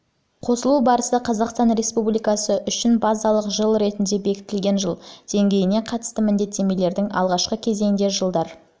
қосымшасына қосылу барысы қазақстан республикасы үшін базалық жыл ретінде бекітілген жыл деңгейіне қатысты міндеттемелердің алғашқы кезеңіндегі жылдар эмиссия